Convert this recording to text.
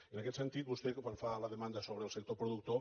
i en aquest sentit vostè quan fa la demanda sobre el sector productor